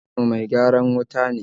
Magwabcin mu mai gyaran wuta ne